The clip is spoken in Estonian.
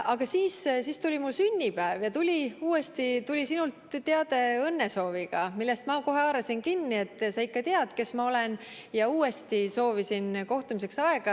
Aga siis tuli mu sünnipäev ja tuli sinult teade õnnesooviga, millest ma kohe haarasin kinni, et sa ikka tead, kes ma olen, ja soovisin uuesti kohtumiseks aega.